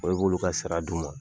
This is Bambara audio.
Ɔ' i b'olu ka sara di u ma